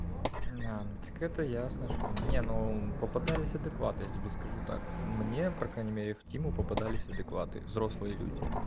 да ну так это ясно что не ну попадались адекваты я тебе скажу так мне по крайней мере в тиму попадались адекваты взрослые люди